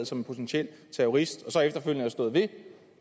som potentiel terrorist og så efterfølgende har stået ved